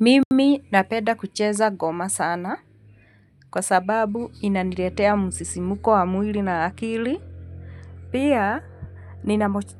Mimi napenda kucheza goma sana. Kwa sababu inaniretea musisimuko wa mwili na akili. Pia,